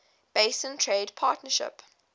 basin trade partnership